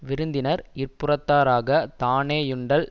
விருந்தினர் இற்புறத்தாராகத் தானே யுண்டல்